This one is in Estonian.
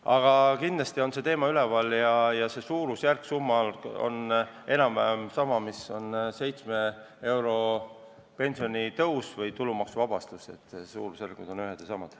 Aga kindlasti on see teema üleval ja see suurusjärk on enam-vähem sama, mis on seitsmeeurosel pensionitõusul või tulumaksuvabastusel, suurusjärgud on ühed ja samad.